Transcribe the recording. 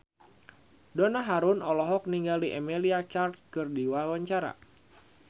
Donna Harun olohok ningali Emilia Clarke keur diwawancara